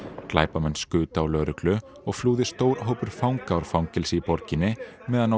glæpamenn skutu á lögreglu og flúði stór hópur fanga úr fangelsi í borginni meðan á